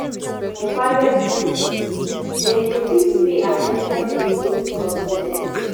for private schools dem dey fit pay at ten tion to di needs of student